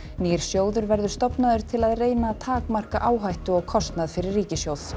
nýr sjóður verður stofnaður til að reyna að takmarka áhættu og kostnað fyrir ríkissjóð